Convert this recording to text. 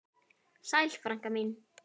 Sæl frænka mín.